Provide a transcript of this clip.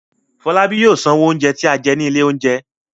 Fọlábí yóò sanwó oúnjẹ tí a jẹ ní ilé-oúnjẹ.